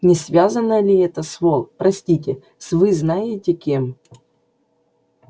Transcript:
не связано ли это с вол простите с вы знаете кем